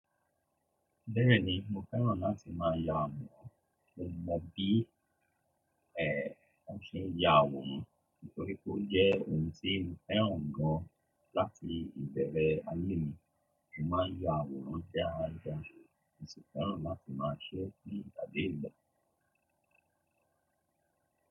Bẹ́ẹ̀ni, mo fẹ́ràn láti má a ya àwòrán, mo mọ bí èè o ṣe ń ya àwòrán nítorí pé ó jẹ́ ohun tí mo fẹ́ràn gan láti ìbẹ̀rẹ̀ ayé mi. Mo má ń ya àwòrán sí arà àṣò, mo sì fẹ́ràn láti má a ṣẹ́ ní ìgbàdé ìgbà.